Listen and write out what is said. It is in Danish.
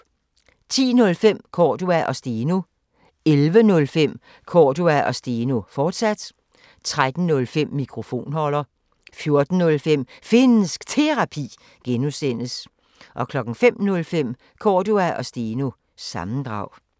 10:05: Cordua & Steno 11:05: Cordua & Steno, fortsat 13:05: Mikrofonholder 14:05: Finnsk Terapi (G) 05:05: Cordua & Steno – sammendrag